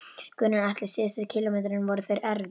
Gunnar Atli: Síðustu kílómetrarnir, voru þeir erfiðir?